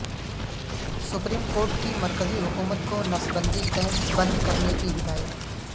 supreme court کی مرکزی حکومت کو نسبندی کیمپ بند کرانے کی ہدایت